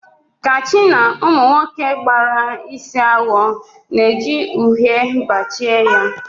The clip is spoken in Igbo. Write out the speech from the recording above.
Kachi na Ụmụ nwoke gbara isi awọ na-eji uhie bajie ya